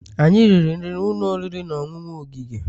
Anyị riri nri n'ụlọ oriri na ọṅụṅụ ogige